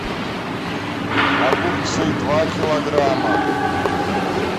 огурцы два килограмма